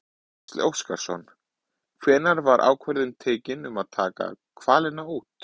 Gísli Óskarsson: Hvenær var ákvörðun tekin um að taka hvalina út?